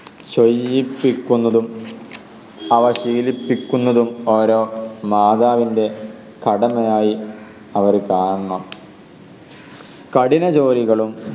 ചെയ്യിപ്പിക്കുന്നതും അവ ശീലിപ്പിക്കുന്നതും ഓരോ മാതാവിൻറെ കടമയായ് അവർ കാണണം കഠിന ജോലികളും